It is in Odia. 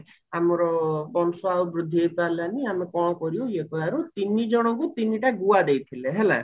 ଆମର ବଂଶ ବୃଦ୍ଧି ଆମେ କଣ କରିବୁ ଇଏ କହିବାରୁ ତିନି ଜଣଙ୍କୁ ତିନିଟା ଗୁଆ ଦେଇଥିଲେ ହେଲା